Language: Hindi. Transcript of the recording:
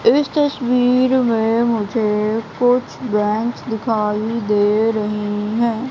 इस तस्वीर में मुझे कुछ बेंच दिखाई दे रही है।